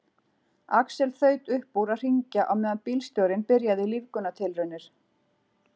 Axel þaut upp úr að hringja á meðan bílstjórinn byrjaði lífgunartilraunir.